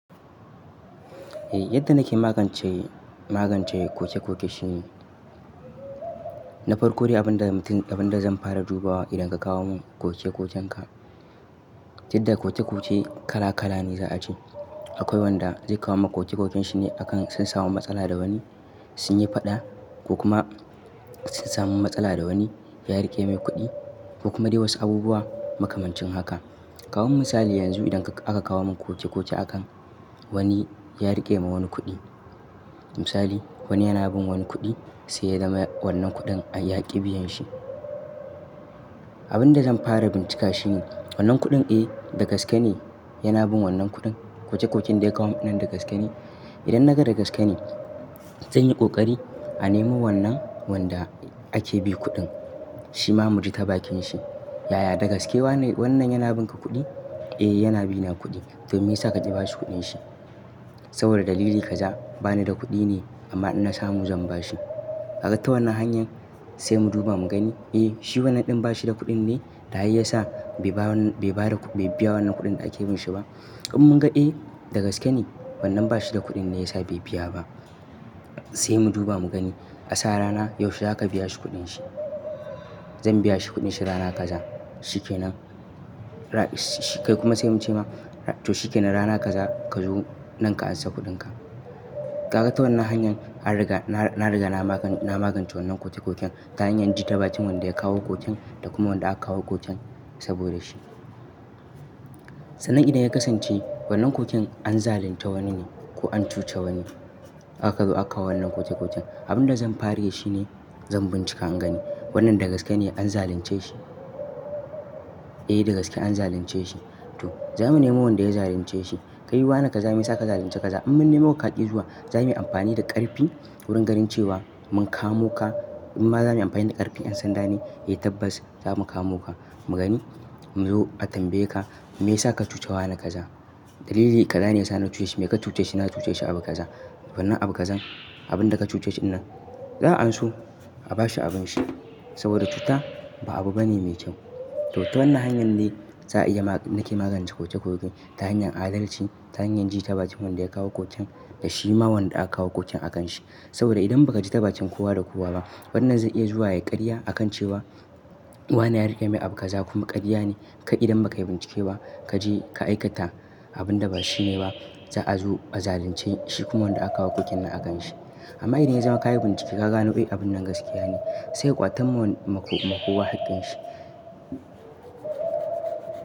Yadda nake magance, magance koke-koke shine, na farko dai abin da, abin da zan fara duba idan ka kawo mun koke-kokenka. Duk da koke-koke kala-kala ne za a ce. Akwai wanda zai kawo mun koke-koken shi ne akan sun samu matsala da wani, sun yi faɗa ko kuma sun samu matsala da wani ya riƙe mai kuɗi ko kuma dai wasu abubuwa makamancin haka. Kawo misali yanzu idan aka kawo mun koke-koke akan wani ya riƙe ma wani kuɗi. Misali wani yana bin wani kuɗi sai ya zama wannan kuɗin a yi yaƙi biyan shi. Abin da zan fara bincika shine wannan kuɗin eh dagaske ne yana bin wannan kuɗin? Koke-koken da ya kawo mun nan dagaske ne? Idan naga dagaske ne, zan yi ƙoƙari a nemo wannan wanda ake bi kuɗin shima mu ji ta bakin shi. Yaya? Dagaske wannan yana bin ka kuɗi? Eh yana bina kuɗi. To me yasa ka ƙi bashi kuɗin shi? Saboda dalili kaza bani da kuɗi ne amma idan na samu zan bashi. Gaga ta wannan hanyar sai mu duba mu gani. Eh shi wannan ɗin ba shi da kuɗin ne? Ta ai yasa bai ba wannan, bai ba da, bai biya wannan kuɗin da ake bin shi ba? In mun ga eh dagaske ne wannan ba shi da kuɗin ne yasa bai biya ba, sai mu duba mu gani. A sa rana yaushe za ka biya shi kuɗin shi? Zan biya shi kuɗin shi rana kaza. Shi ke nan. Kai kuma sai mun ce ma to shi ke nan rana kaza ka zo nan ka ansa kuɗin ka. Kaga ta wannan hanyar an riga, na, na riga na magance wannan koke-koken ta hanyar jin ta bakin wanda ya kawo koken da kuma wanda aka kawo koken saboda shi. Sannan idan ya kasance wannan koken an zalunta wani ne ko an cuce wani, aka zo aka kawo wannan koke-koken. Abin da zan fara yi shine zan bincika in gani wannan dagaske ne an zalunce shi? Eh dagaske an zalunce shi. To za mu nemo wanda ya zalunce shi. Kai wa ne ka zame saka zalunce kaza? In mun nemo kaki zuwa za muyi amfani da ƙarfi wurin gani cewa mun kamo ka. In ma za muyi amfani da ƙarfi, an san dane eh tabbas za mu kamo ka mu gani. Mu zo a tambaye ka me yasa ka cuce wa ne kaza? Dalili kaza ne yasa na cuce shi. Me ka cuce shi? Na cuce shi abu kaza. To wannan abu kazan abin da ka cuce shi wannan za an so a bashi abin shi saboda cuta ba abu bane mai kyau. To ta wannan hanyar ne za a iya, nake magance koke-koke ta hanyar adalci, ta hanyar ji ta bakin wanda ya kawo koken da shi ma wanda aka kawo koken a kan shi. Saboda idan baka ji ta bakin kowa da kowa ba fannan zai iya zuwa ya ƙarya akan cewa wa ne ya riƙe mai abu kaza kuma ƙarya ne. Kai idan baka bincike ba kaje ka aikata abun da ba shi ne ba za a zo a zalunce shi kuma wanda aka kawo koken nan a kan shi. Amma idan ya zama ka yi bincike ka gano eh abun nan gaskiya ne sai a ƙwatan ma maƙowa haƙƙin shi.